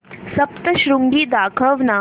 सप्तशृंगी दाखव ना